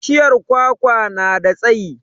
Bishiyar kwakwa na da tsayi